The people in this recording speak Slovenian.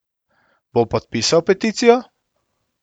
Bo podpisal peticijo?